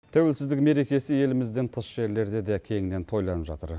тәуелсіздік мерекесі елімізден тыс жерлерде де кеңінен тойланып жатыр